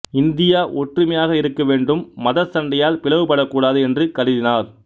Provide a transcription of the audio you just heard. India ஒற்றுமையாக இருக்கவேண்டும் மதச்சண்டையால் பிளவுபடக் கூடாது என்று கருதினார்